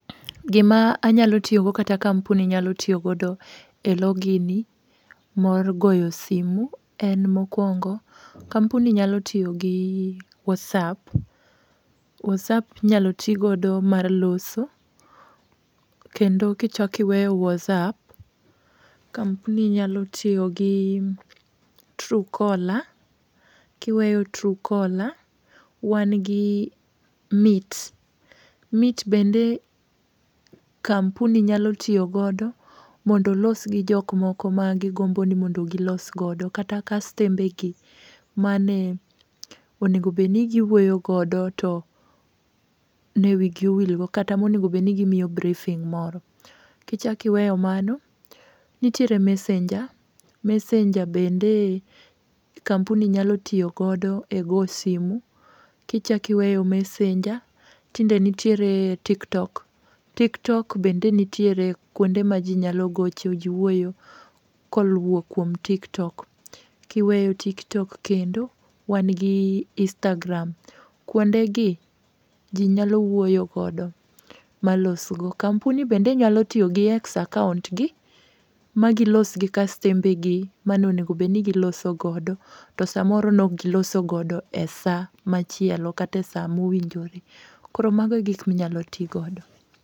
Gima anyalo tiyo go kata kampuni nyalo tiyo godo e login mar goyo simu en, mokwongo, kampuni nyalo tiyogi WhatsApp. WhatsApp inyalo ti godo mar loso. Kendo kichak iweyo WhatsApp, kampuni nyalo tiyogi Truecaller. Kiweyo Truecaller, wan gi Meet. Meet bende kampuni nyalo tiyo godo mondo olos gi jok moko magigomboni mondo gilos godo. Kata kastembegi mane onego bedni gi wuoyo godo, to ne wigi owilgo, kata monego bedni gimiyo briefing moro. Kichakiweyo mano nitiere Messenger. Messenger bende kampuni nyalo tiyo godo e go simu. Kichakiweyo Messenger, tinde nitiere TikTok. Tiktok bende nitiere kuonde ma jinyalo gocho, ji wuoyo koluwo kuom TikTok. Kiweyo TikTok kendo wanigi Instagram. Kuondegi jinyalo wuoyo godo malosgo kampuni bende nyalo tiyogi x account gi magilosgi kastembegi ma nonego bedni giloso godo, to samoro nokgiloso godo e sa machielo kata sa mowinjore. Koro mago e gik minyalo ti godo.